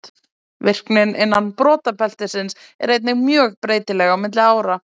Virknin innan brotabeltisins er einnig mjög breytileg á milli ára.